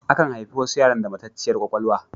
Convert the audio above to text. Akan haifi wasu yara da matacciyar kwakwalwa.